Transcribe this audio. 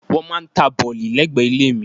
Wọ́n máà ń ta bọ̀lì lẹ́gbẹ̀ẹ́ ilé mi.